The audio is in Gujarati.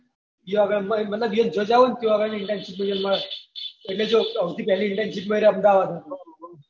જ્યાં આગળ ને એટલે તમે જ્યાં જાઉં ને ત્યાં આગળ ની internship એટલે જો હવથી પેહલી internship મેડ્યા અમદાવાદ હથી